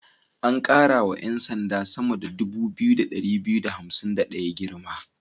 An ƙara wa 'yan sand sama 2251 girma.